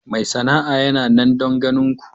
Mai sana'a yana nan don ganin ku.